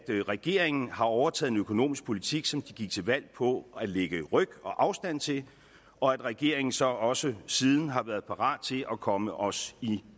regeringen har overtaget en økonomisk politik som de gik til valg på og lægge afstand til og at regeringen så også siden har været parat til at komme os